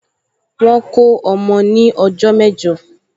Wọ́n kó ọmọ ní ọjọ́ mẹ́jọ